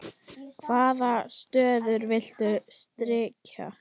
Hvaða stöður viltu styrkja?